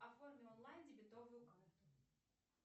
оформи онлайн дебетовую карту